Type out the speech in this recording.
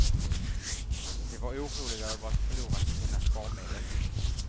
De var oroliga över att förlora sina sparmedel.